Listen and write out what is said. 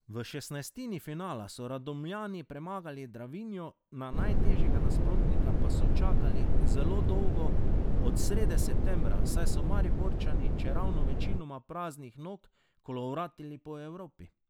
V šestnajstini finala so Radomljani premagali Dravinjo, na najtežjega nasprotnika pa so čakali zelo dolgo, od srede septembra, saj so Mariborčani, čeravno večinoma praznih nog, kolovratili po Evropi.